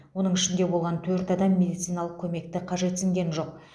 оның ішінде болған төрт адам медициналық көмекті қажетсінген жоқ